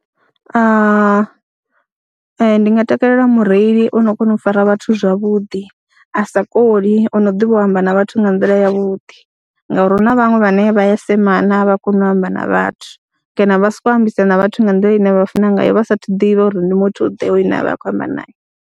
Ndi nga takalela mureili o no kona u fara vhathu zwavhuḓi, a sa koli o no ḓivha u amba na vhathu nga nḓila yavhuḓi ngauri hu na vhaṅwe vhane vha ya semana, a vha koni u amba na vhathu kana vha sokou ambisa na vhathu nga nḓila ine vha funa ngayo vha saathu ḓivha uri ndi muthuḓe hoyu une vha khou amba naye.